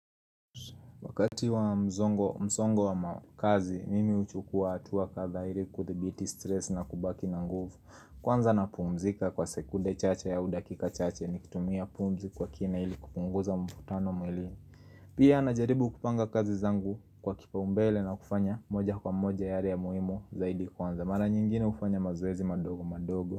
Wakati wa mzongo msongo wa ma kazi, mimi huchukua hatua kadhaa ili kuthibiti stress na kubaki na nguvu. Kwanza napumzika kwa sekunde chache au dakika chache ni kutumia pumzi kwa kina ili kupunguza mvutano mwilini Pia najaribu kupanga kazi zangu kwa kipau mbele na kufanya moja kwa moja yale ya muhimu zaidi kwanza. Mara nyingine hufanya mazoezi madogo madogo.